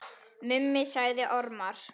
Mummi sagði ormar.